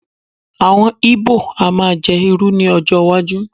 awon ibo a ma je iru ni ọjọ iwaju